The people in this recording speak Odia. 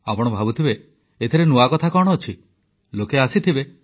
ଆପଣ ଭାବୁଥିବେ ଏଥିରେ ନୂଆ କଥା କଣ ଅଛି ଲୋକ ଆସିଥିବେ